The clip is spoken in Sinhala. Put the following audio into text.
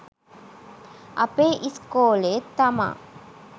අපේ ඉස්කෝලේ තමා